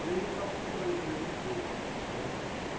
Veio para procurar emprego em empresas né.